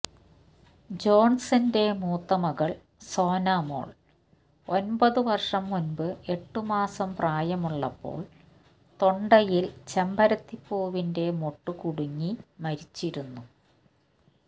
ജോണ്സന്റെ മൂത്ത മകള് സോനാമോള് ഒന്പത് വര്ഷം മുമ്പ് എട്ടുമാസം പ്രായമുള്ളപ്പോള് തൊണ്ടയില് ചെമ്പരത്തി പൂവിന്റെ മൊട്ട് കുടുങ്ങി മരിച്ചിരുന്നു